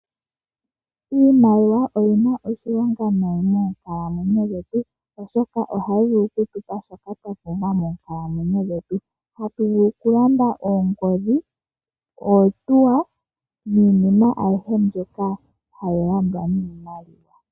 Iimaliwa oyina oshilonga moonkalamwenyo dhetu molwaashoka ohayi vulu okutupa shoka twapumbwa moonkalamwenyo dhetu . Ohatu vulu okulanda oongodhi, oohauto niinima aihe mbyoka hayi landwa niimaliwa.